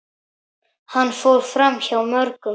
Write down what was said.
Hann fór framhjá mörgum.